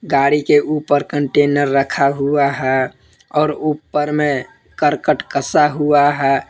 गाड़ी के ऊपर कंटेनर रखा हुआ है और ऊपर में करकट कसा हुआ है।